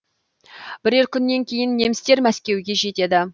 бірер күннен кейін немістер мәскеуге жетеді